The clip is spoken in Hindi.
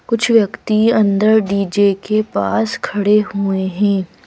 कुछ व्यक्ति अंदर डी_जे के पास खड़े हुए हैं।